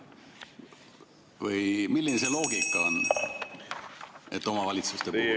Või milline see loogika on, et omavalitsuste puhul ...?